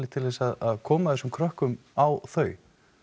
til þess að koma þessum krökkum á þau